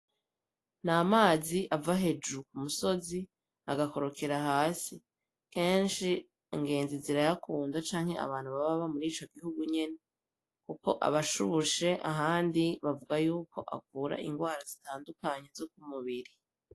Ni amazi ava hejuru ku musozi agakorokera hasi kenshi angenzi zira yakunda canke abantu baba ba muri ico gihugu nyene, kuko abashubushe ahandi bavuga yuko avura ingwara zitandukanye zo kumubiri.